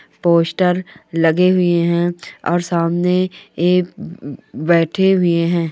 Poster लगे हुए है और सामने ये बेठे हुए है।